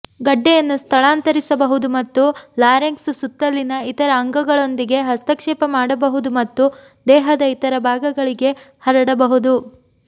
ಗಡ್ಡೆಯನ್ನು ಸ್ಥಳಾಂತರಿಸಬಹುದು ಮತ್ತು ಲಾರೆಂಕ್ಸ್ ಸುತ್ತಲಿನ ಇತರ ಅಂಗಗಳೊಂದಿಗೆ ಹಸ್ತಕ್ಷೇಪ ಮಾಡಬಹುದು ಮತ್ತು ದೇಹದ ಇತರ ಭಾಗಗಳಿಗೆ ಹರಡಬಹುದು